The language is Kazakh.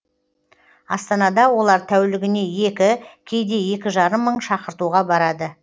астанада олар тәулігіне екі кейде екі жарым мың шақыртуға барады